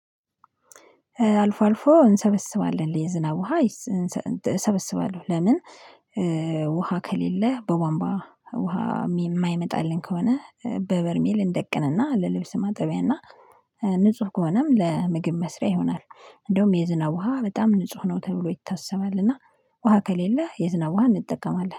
አልፎ አልፎ እንሰበስባለን የዝናብ ውሃ። እሰበስባለሁ ለምን? ውሃ ከሌለ በቧንባ ውሃ የማይመጣልን ከሆነ በበርሜል እንደቅንና ለልብስ ማጠቢያና እና ንጹህ ከሆነም ለምግብ መስሪያ ይሆናል። እንደውም የዝናብ ውሃ በጣም ንጹህ ነው ተብሎ ይታሰባል። እና ውሃ ከሌለ የዝናብ ውሃ እንጠቀማለን